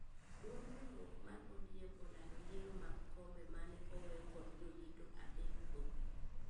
Duond riuruok mar ODM olando yiero mag kombe mane owee kod jodito adek go